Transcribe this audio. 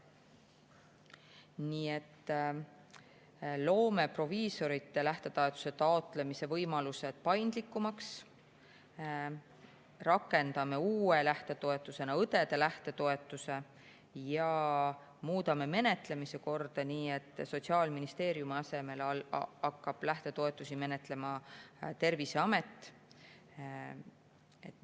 Nii et proviisorite lähtetoetuse taotlemise võimalused paindlikumaks, rakendame uue lähtetoetusena õdede lähtetoetuse ja muudame menetlemise korda nii, et Sotsiaalministeeriumi asemel hakkab lähtetoetusi menetlema Terviseamet.